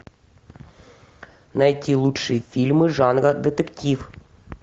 найти лучшие фильмы жанра детектив